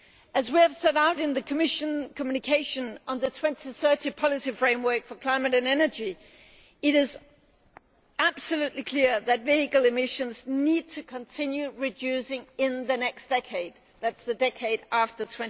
As we have set out in the Commission communication on the 2030 policy framework for climate and energy, it is absolutely clear that vehicle emissions need to continue reducing in the next decade that is the decade after